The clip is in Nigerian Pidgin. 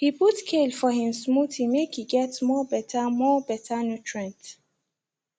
e put kale for him smoothie make e get more better more better nutrient